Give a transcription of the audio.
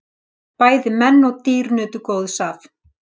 Bæði menn og dýr nutu góðs af.